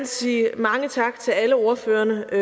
sige mange tak til alle ordførerne og